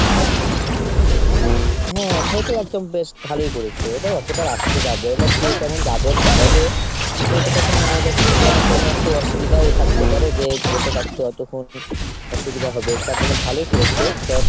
হ্যাঁ তাহলে তো একদম বেশ ভালোই করেছো। এবার অতটা রাস্তা যাবে, এবার কে কেমন যাবে না যাবে ? সেইটা তখন মানে এবার অসুবিধাও থাকতে পারে যে বসে থাকতে অতক্ষণ। অসুবিধা হবে তার জন্য ভালোই করেছো।